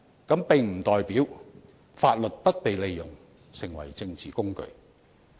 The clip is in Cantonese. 這並不代表法律不被利用成為政治工具。